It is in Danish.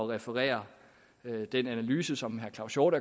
referere den analyse som herre claus hjort